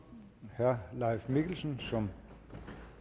herre leif mikkelsen som